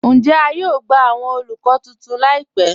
Ǹjẹ̀ à yóò gbà awọn olúkọ̀ tuntun láìpẹ̀?